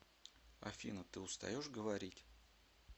афина ты устаешь говорить